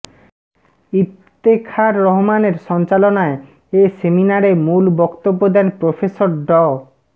ইফতেখার রহমানের সঞ্চালনায় এ সেমিনারে মূল বক্তব্য দেন প্রফেসর ড